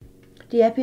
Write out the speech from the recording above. DR P2